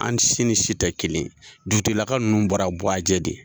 An si ni si tɛ kelen ye. Dugu tigila ka nunnu bɔra buajɛ de.